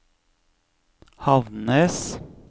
Havnnes